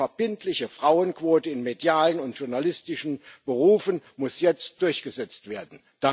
Eine verbindliche Frauenquote in medialen und journalistischen Berufen muss jetzt durchgesetzt werden.